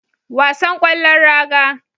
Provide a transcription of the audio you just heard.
Wasan kwallon raga